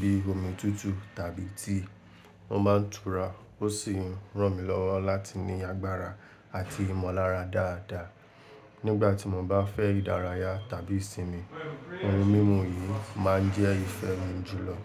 bí omi tutu tàbí tea. Wọ́n máa ń tura ó sì ń ràn mí lọ́wọ́ láti ní agbára àti ìmọ̀lára dáadáa. Nígbà tí mo bá fẹ́ ìdárayá tàbí ìsinmi, ohun mímu yìí máa ń jẹ́ ìfẹ́ mi jùlọ.